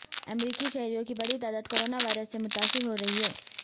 امریکی شہریوں کی بڑی تعداد کورونا وائرس سے متاثر ہو رہی ہے